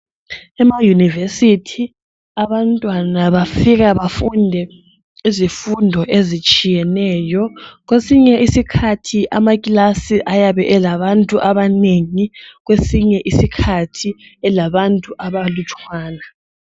Ema Univesithi, abantwana bafika bafunde izifundo ezitshiyeneyo. Kwesinye isikhathi amakilasi ayabe elabantu abanengi, kwesinye isikhathi elabantu abalutshwana.